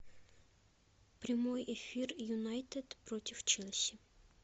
прямой эфир юнайтед против челси